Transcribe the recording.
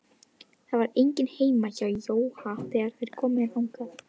Það var enginn heima hjá Jóa þegar þeir komu þangað.